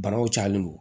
Banaw cayalen don